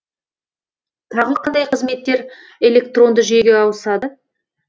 тағы қандай қызметтер электронды жүйеге ауысады